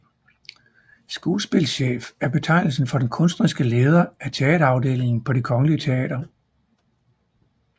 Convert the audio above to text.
Skuespilchef er betegnelsen for den kunstneriske leder af teaterafdelingen på Det Kongelige Teater